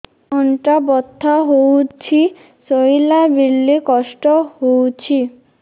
ଅଣ୍ଟା ବଥା ହଉଛି ଶୋଇଲା ବେଳେ କଷ୍ଟ ହଉଛି